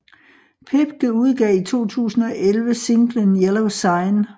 Pepke udgav i 2011 singlen Yellow Sign